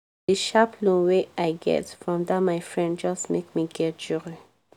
di sharp loan wey i get from dat my friend just make me get joy